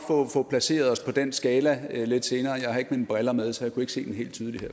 få placeret os på den skala lidt senere jeg har ikke mine briller med så jeg kunne ikke se den helt tydeligt